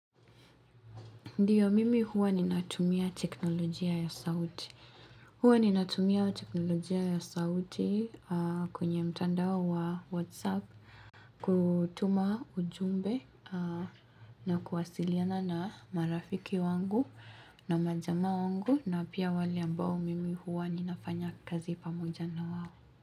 Ndiyo, mimi huwa ninatumia teknolojia ya sauti. Huwa ninatumia teknolojia ya sauti kwenye mtandao wa WhatsApp, kutuma ujumbe na kuwasiliana na marafiki wangu na majamaa wangu na pia wale ambao mimi huwa ninafanya kazi pamoja na wao.